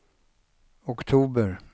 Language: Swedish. oktober